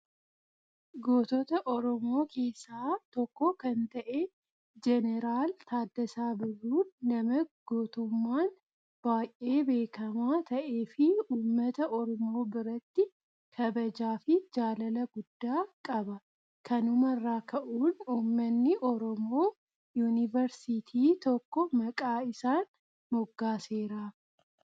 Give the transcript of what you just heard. Gootota oromoo keessaa tokko kan ta'e jeneraal Taaddasaa Birruun nama gootummaan baay'ee beekamaa ta'ee fi uummata oromoo biratti kabajaa fi jaalala guddaa qaba. Kanumarraa ka'uun uummanni oromoo yuunivarsiitii tokko maqaa isaan moggaaseeraaf.